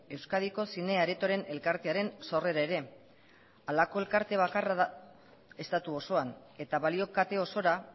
euskadiko zine aretoren elkartearen sorrera ere halako elkarte bakarra da estatu osoan eta balio kate osora